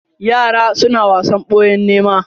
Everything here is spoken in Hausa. Yara suna wasan boya da nēma.